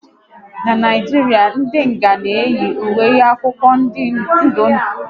N'Naijiria, ndị nga na eyi ùwé akwụkwọ ndụ ndụ maọbụ anụnụ anụnụ